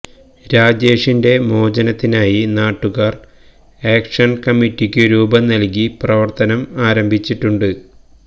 രാജേഷിന്റെ മോചനത്തിനായി നാട്ടുകാർ ആക്ഷൻ കമ്മിറ്റിക്കു രൂപം നൽകി പ്രവർത്തനം ആരംഭിച്ചിട്ടുണ്ട്